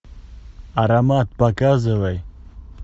аромат показывай